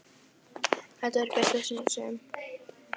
Þetta var í fyrsta sinn sem